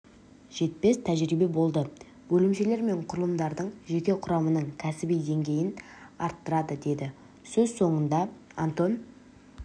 жетпес тәжірибе болады бөлімшелер мен құрылымдардың жеке құрамының кәсіби деңгейін арттырады деді сөз соңында антон